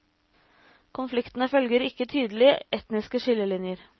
Konfliktene følger ikke tydelige etniske skillelinjer.